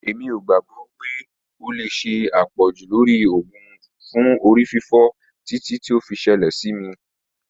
Emi ko gbagbọ pe o le ṣe apọju lori oògùn fun orififo titi o fi ṣẹlẹ si mi.